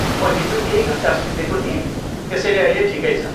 म हिजो केही घन्टा सुतेको थिएँ, त्यसैले अहिले ठिकै छ।